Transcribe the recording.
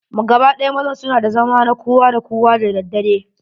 Gaba ɗaya mazan su na da zamma na kowa da kowa da daddare.